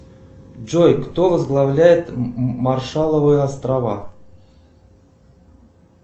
джой кто возглавляет маршалловы острова